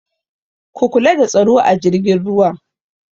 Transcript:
Ku kula da tsaro a jirgin ruwan!